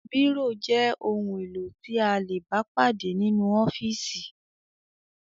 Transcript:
Bírò jẹ́ ohun-èlò tí a lè bá pàdé nínú ọ́fíísì.